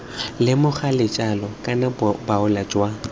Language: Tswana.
lemoga letlalo kana boalo jwa